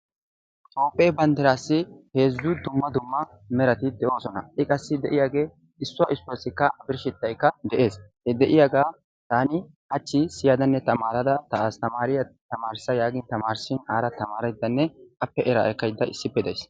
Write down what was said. Toophphee banddiraassi heezzu dumma dumma merati de"oosona. i qassi de'iyaagee issuwa issuwaasikka a birshshettaykka de'ees. he de'iyaagaa taani hachchi siyyadanne tamarada ta astamaariyaa tamarissa yaagin taamirissin ara tamaraydanne appe eraa ekkayda issippe days.